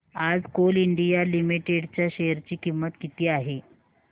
आज Coal India Limited च्या share ची किंमत किती आहे